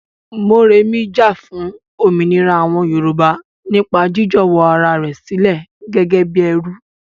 Moremi jà fún òmìnira àwọn Yorùbá nípa jiíjọ̀wọ́ ara rẹ̀ sílẹ̀ gẹ́gẹ́ bí ẹrú.